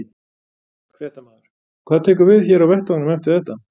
Fréttamaður: Hvað tekur við hér á vettvangnum eftir þetta?